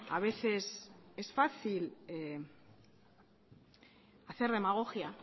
a veces es fácil hacer demagogia